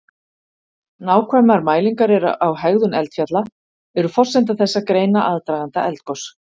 nákvæmar mælingar á hegðun eldfjalla eru forsenda þess að greina aðdraganda eldgos